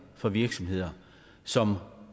på virksomheder som